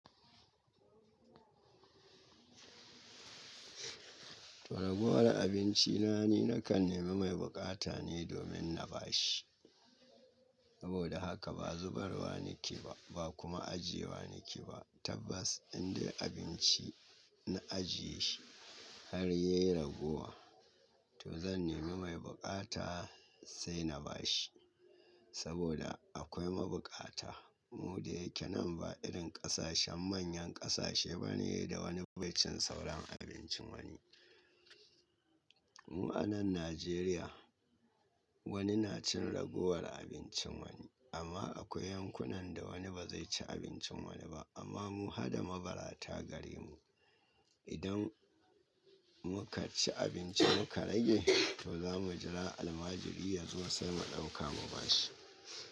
To ragowar abinci na ni nakan nema mai buƙata ne domin na ba shi. Saboda haka ba zubarwa nake ba, ba kuma ajiyewa nake ba. Tabbas indai abinci na ajiye shi har ya yi ragowa to zan nema mai buƙata sai na ba shi. Saboda akwai mabukata mu da yake nan ba irin ƙasashen manyan ƙasashe bane da wani bai cin sauran abincin wani. Mu a nan Najeriya wani na cin ragowar abincin wani amma akwai yankunan da wani ba zai ci abincin wani ba amma mu hada mabarata gare mu. Idan muka ci abinci muka rage to za mu jira almajiri yazo sai mu ɗauka mu ba shi.